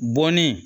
Bɔnnen